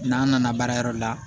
N'an nana baarayɔrɔ la